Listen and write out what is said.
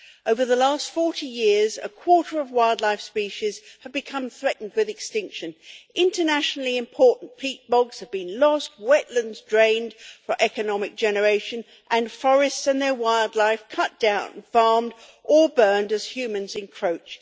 Over the last 40 years a quarter of wildlife species have become threatened with extinction. Internationally important peat bogs have been lost, wetlands drained for economic generation, and forests and their wildlife cut down, farmed or burned as humans encroach.